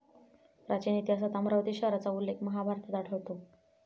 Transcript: प्राचीन इतिहासात अमरावती शहराचा उल्लेख महाभारतात आढळतो.